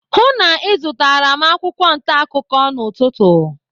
Hụụ na ịzụtara m akwụkwọ ntaakụkọ n'ụtụtụ.